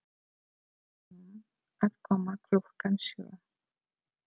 Segðu honum að koma klukkan sjö.